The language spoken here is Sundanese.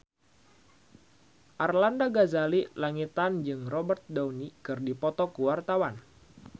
Arlanda Ghazali Langitan jeung Robert Downey keur dipoto ku wartawan